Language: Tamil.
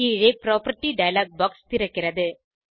கீழே புராப்பர்ட்டி டயலாக் பாக்ஸ் திறக்கிறது